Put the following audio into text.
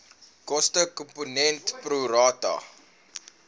kostekomponent pro rata